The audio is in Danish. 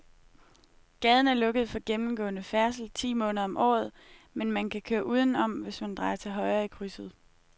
Gaden er lukket for gennemgående færdsel ti måneder om året, men man kan køre udenom, hvis man drejer til højre i krydset.